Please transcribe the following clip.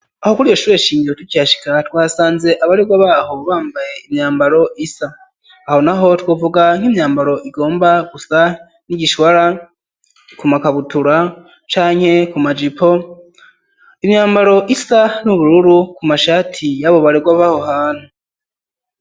Aho kuryo shure shingiro tukihashika twasanze abarewa baho bamba imyambaro isa, aho naho twuvuga nk'imyambaro igomba gusa n'igishbara ku makabutura canke ku majipo imyambaro isa n'ubururu ku mashati y'abo barewa baho hantu.